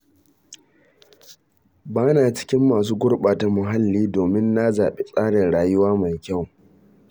Ba na cikin masu gurɓata muhalli, domin na zaɓi tsarin rayuwa mai kyau.